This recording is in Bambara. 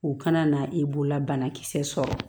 U kana na e bololabanakisɛ sɔrɔ